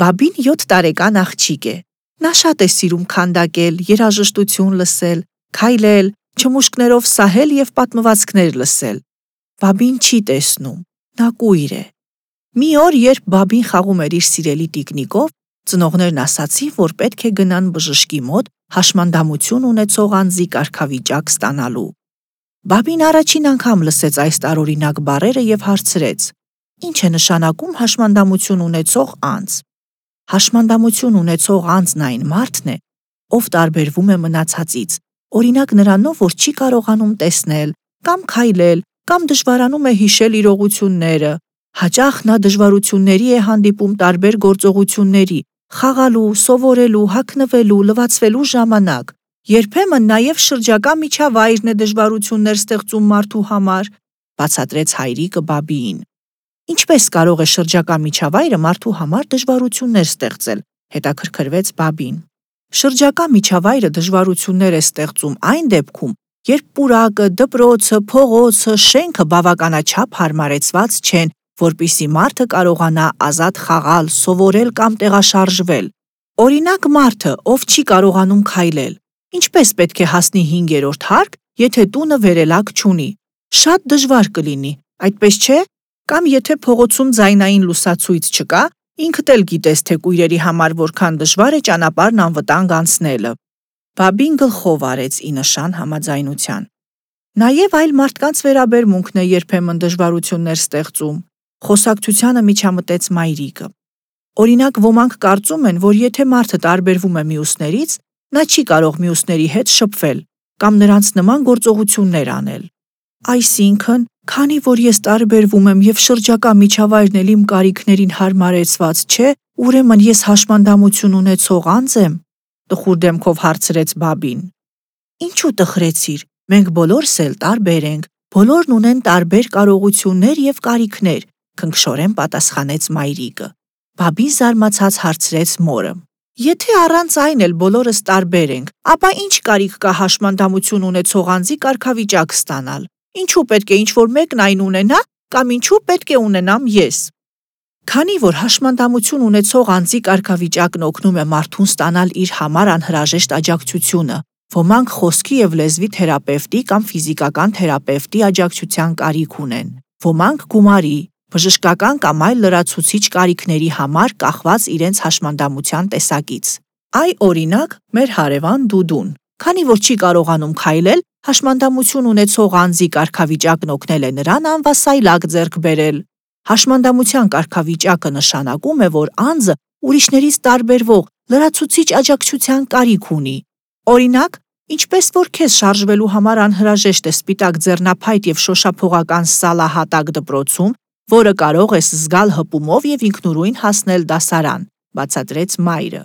Բաբին 7 տարեկան աղջիկ է: Նա շատ է սիրում քանդակել, երաժշտություն լսես, քայլել, չմուշկներով սահել եւ պատմ- վածքներ լսել: Բաբին չի տեսնում, նա կույր է։ Մի օր, երբ Բաբին խաղում էր իր սիրելի տիկնիկով, ծնողներն ասացին, որ պետք է գնան բժշկի մոտ՝ հաշմանդամություն ունեցող անձի կարգավիճակ ստանալու: Բաբին առաջին անգամ լսեց այս տարօրինակ բառերը եւ հարցրեց. – Ի՞նչէնշանակում«հաշմանդամությունունեցողանձ»: – Հաշմանդամություն ունեցող անձն այն մարդն է, ով տարբ- երվում է մնացածից, օրինակ նրանով, որ չի կարողանում տեսնել, կամ քայլել, կամ դժվարանում է հիշել իրողությունները: Հաճախ նա դժվարությունների է հանդիպում տարբեր գործո- ղությունների՝ խաղալու, սովորելու, հագնվելու, լվացվելու ժամ- անակ: Երբեմն նաեւ շրջակա միջավայրն է դժվարություններ ստեղծում մարդու համար, – բացատրեց հայրիկը Բաբիին: Ինչպե՞ս կարող է շրջակա միջավայրը մարդու համար դժվարություններ ստեղծել, - հետաքրքրվեց Բաբին: Շրջակա միջավայրը դժվարություններ է ստեղծում, այն դեպքում, երբ պուրակը, դպրոցը, փողոցը, շենքը բավականաչափ հարմարեցված չեն, որպեսզի մարդը կարողանա ազատ խաղալ, սովորել կամ տեղաշարժվել։ Օրինակ՝ մարդը, ով չի կարողանում քայլել, ինչպե՞ս պետք է հասնի հինգերորդ հարկ, եթե տունը վերելակ չունի։ Շատ դժվար կլինի, այդպես չէ՞։ Կամ եթե փողոցում ձայնային լուսացույց չկա, ինքդ էլ գիտես, թե կույրի համար որքան դժվար է ճանապարհն անվտանգ անցնելը։ Բաբին գլխով արեց՝ ի նշան համաձայնության։ Նաեւ այլ մարդկանց վերաբերմունքն է երբեմն դժվարություններ ստեղծում, - խոսակցությանը միջամտեց մայրիկը: Օրինակ՝ ոմանք կարծում են, որ եթե մարդը տարբերվում է մյուսներից, նա չի կարող մյուսների հետ շփվել, կամ նրանց նման գործողություններ անել։ Այսինքն, քանի որ ես տարբերվում եմ եւ շրջակա միջավայրն էլ իմ կարիքներին հարմարեցված չէ, ուրեմն ես հաշմանդամություն ունեցող անձ եմ, - տխուր դեմքով հարցրեց Բաբին: Ինչու՞ տխրեցիր: Մենք բոլորս էլ տարբեր ենք, բոլորն ունեն տարբեր կարողություններ եւ կարիքներ – քնքշորեն պատասխանեց մայրիկը: Բաբին զարմացած հարցրեց մորը. Եթե առանց այն էլ բոլորս տարբեր ենք, ապա ի՞նչ կարիք կա հաշմանդամություն ունեցող անձի կարգավիճակ ստանալ: Ինչու՞ պետք է ինչ-որ մեկն այն ունենա, կամ ինչու՞ պետք է ունենամ ես: Քանի որ հաշմանդամություն ունեցող անձի կարգավիճակն օգնում է մարդուն ստանալ իր համար անհրաժեշտ աջակցությունը: Ոմանք խոսքի եւ լեզվի թերապեւտի կամ ֆիզիկական թերապեւտի աջակցության կարիք ունեն: Ոմանք՝ գումարի, բժշկական կամ այլ լրացուցիչ կարիքների համար՝ կախված իրենց հաշմանդամության տեսակից։ Այ, օրինակ, մեր հարեւան Դուդուն, քանի որ չի կարողանում քայլել, հաշմանդամություն ունեցող անձի կարգավիճակն օգնել է նրան անվասայլակ ձեռք բերել։ Հաշմանդամության կարգավիճակը նշանակում է, որ անձը ուրիշներից տարբերվող, լրացուցիչ աջակցության կարիք ունի: Օրինակ, ինչպես որ քեզ շարժվելու համար անհրաժեշտ է սպիտակ ձեռնափայտ եւ շոշափողական սալահատակ դպրոցում, որը կարող ես զգալ հպումով եւ ինքնուրույն հասնել դասարան, - բացատրեց մայրը: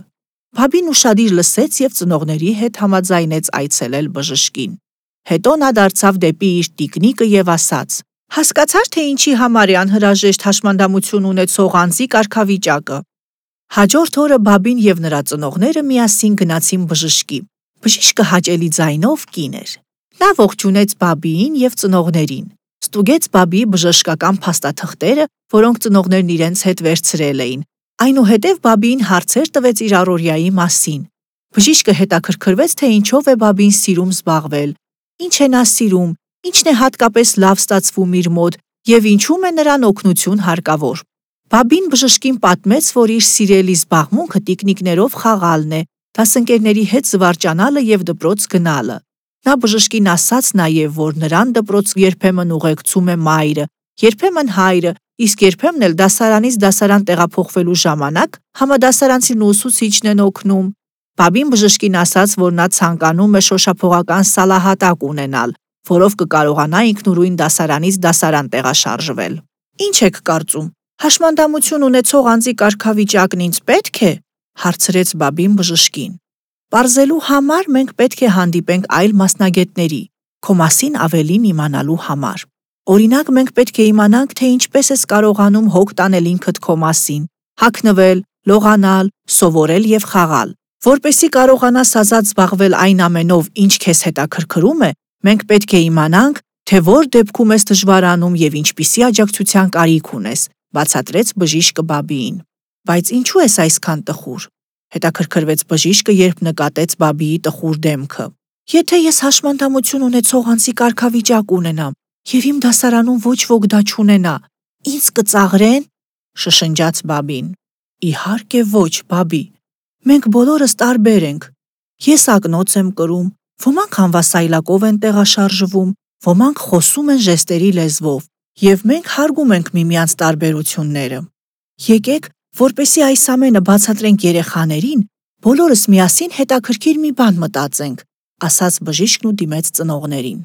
Բաբին ուշադիր լսեց եւ ծնողների հետ համաձայնեց այցելել բժշկին։ Հետո նա դարձավ դեպի իր տիկնիկը եւ ասաց. Հասկացա՞ր, թե ինչի համար էր անհրաժեշտ հաշմանդամություն ունեցող անձի կարգավիճակը։ Հաջորդ օրը Բաբին եւ նրա ծնողները միասին գնացին բժշկի։ Բժիշկը հաճելի ձայնով կին էր։ Նա ողջունեց Բաբիին եւ ծնողներին, ստուգեց Բաբիի բժշկական փաստաթղթերը, որոնք ծնողներն իրենց հետ վերցրել էին։ Այնուհետեւ Բաբիին հարցեր տվեց իր առօրյաի մասին: Բժիշկը հետաքրքրվեց, թե ինչով է Բաբին սիրում զբաղվել, ինչ է նա սիրում, ինչն է հատկապես լավ ստացվում իր մոտ եւ ինչում է նրան օգնություն հարկավոր: Բաբին բժշկին պատմեց, որ իր սիրելի զբաղմունքը տիկնիկներով խաղալն է, դասընկերների հետ զվարճանալը եւ դպրոց գնալը։ Նա բժշկին ասաց նաեւ, որ նրան դպրոց երբեմն ուղեկցում է մայրը, երբեմն հայրը, իսկ երբեմն էլ դասարանից դասարան տեղափոխվելու ժամանակ համադասարանցին ու ուսուցիչն են օգնում: Բաբին բժշկին ասաց, որ նա ցանկանում է շոշափողական սալահատակ ունենալ, որով կկարողանա ինքնուրույն դասարանից դասարան տեղաշարժվել: Ի՞նչեքկարծում, հաշմանդամությունունեցողանձի կարգավիճակն ինձ պե՞տք է, - հարցրեց Բաբին բժշկին: Պարզելու համար մենք պետք է հանդիպենք այլ մասնագետների՝ քո մասին ավելին իմանալու համար: Օրինակ, մենք պետք է իմանանք, թե ինչպե՞ս ես կարողանում հոգ տանել ինքդ քո մասին, հագնվել, լողանալ, սովորել եւ խաղալ: Որպեսզի կարողանաս ազատ զբաղվել այն ամենով, ինչ քեզ հետաքրքրում է, մենք պետք է իմանանք, թե ո՞ր դեպքերում ես դժվարանում եւ ինչպիսի աջակցության կարիք ունես, - բացատրեց բժիշկը Բաբիին։ Բայց ինչո՞ւ ես այսքան տխուր, - հետաքրքրվեց բժիշկը, երբ նկատեց Բաբիի տխուր դեմքը։ Եթե ես հաշմանդամություն ունեցող անձի կարգավիճակ ունենամ, եւ իմ դասարանում ոչ ոք դա չունենա, ինձ կծաղրե՞ն, - շշնջաց Բաբին: Իհարկեոչ, Բաբի, մենքբոլորստարբերենք, եսակնոցեմ կրում, ոմանք անվասայլակով են տեղաշարժվում, ոմանք խոսում են ժեստերի լեզվով եւ մենք հարգում ենք միմյանց տարբերությունները: Եկեք, որպեսզի այս ամենը բացատրենք երեխաներին, բոլորս միասին հետաքրքիր մի բան մտածենք, - ասաց բժիշկն ու դիմեց ծնողներին։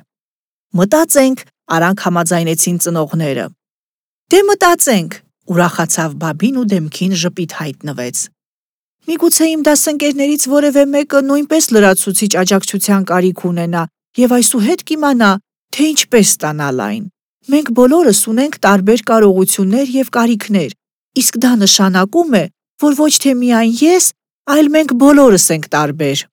«Մտածենք», - արագ համաձայնեցին ծնողները: Դե մտածենք,- ուրախացավ Բաբին ու դեմքին ժպիտ հայտնվեց։ Միգուցե իմ դասընկերներից որեւէ մեկը նույնպես լրացուցիչ աջակցության կարիք ունենա եւ այսուհետ կիմանա, թե ինչպես ստանալ այն: Մենք բոլորս ունենք տարբեր կարողություններ եւ կարիքներ, իսկ դա նշանակում է, որ ոչ թե միայն ես, այլ մենք բոլորս ենք տարբեր։